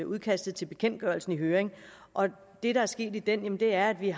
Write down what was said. udkastet til bekendtgørelsen i høring og det der er sket i den er at vi